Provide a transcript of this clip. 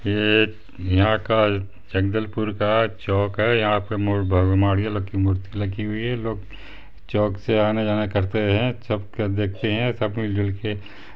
ये यहाँ का जगदलपुर का चौक है यहाँ पर माड़िया लोग की मूर्ति लगी हुई है लोग चौक से आना-जाना करते है सब का देखते है सब मिल जुल के --